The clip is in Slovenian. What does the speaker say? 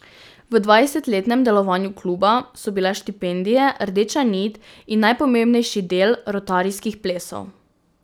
V dvajsetletnem delovanju kluba so bile štipendije rdeča nit in najpomembnejši del rotarijskih plesov.